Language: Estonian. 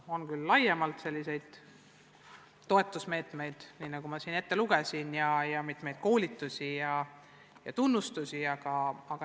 On küll laiemalt igasuguseid toetusmeetmeid, nagu ma siin ette lugesin, on mitmesuguseid koolitusi ja tunnustusi.